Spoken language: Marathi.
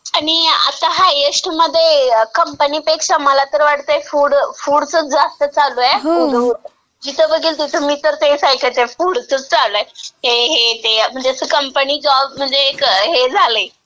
आणि आता हायस्टमध्ये कंपनीपेक्षा मला तर वाटतंय फूडचं जास्त चालूय उधो उधो.. जिथं बघेल तिथं मी तर तेच ऐकतेय फूडचंच चालूय. ते हे ते. म्हणजे असं कंपनी जॉब म्हणजे एक असं एक हे झालंय.